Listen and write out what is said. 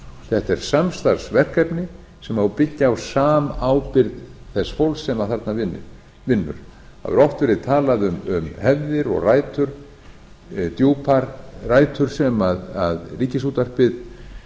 þetta er samstarfsverkefni sem á að byggja á samábyrgð þessa fólks sem þarna vinnur það hefur oft verið talað um hefðir og djúpar rætur sem ríkisútvarpið